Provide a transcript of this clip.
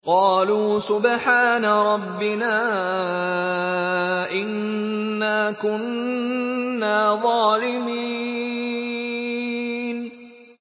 قَالُوا سُبْحَانَ رَبِّنَا إِنَّا كُنَّا ظَالِمِينَ